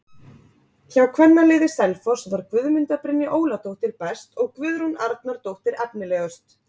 Hjá kvennaliði Selfoss var Guðmunda Brynja Óladóttir best og Guðrún Arnardóttir efnilegust.